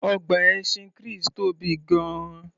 Ọgbà ẹṣin Chris tóbi gan-an